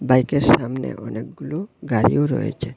বাইকের সামনে অনেকগুলো গাড়িও রয়েছে।